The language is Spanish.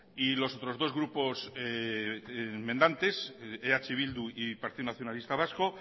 y los otros dos grupos enmendantes eh bildu y partido nacionalista vasco